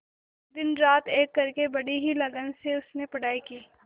दिनरात एक करके बड़ी ही लगन से उसने पढ़ाई की